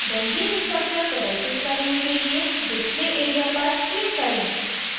benzene structure प्रदर्शित करने के लिए display area पर click करें